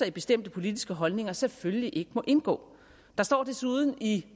i bestemte politiske holdninger selvfølgelig ikke må indgå der står desuden i